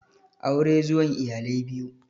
Aure zuwan iyalai biyu